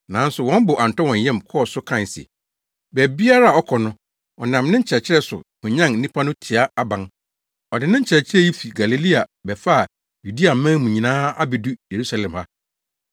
Nanso wɔn bo antɔ wɔn yam kɔɔ so kae se, “Baabiara a ɔkɔ no, ɔnam ne nkyerɛkyerɛ so hwanyan nnipa no tia aban. Ɔde ne nkyerɛkyerɛ yi fi Galilea bɛfaa Yudeaman mu nyinaa abedu Yerusalem ha.”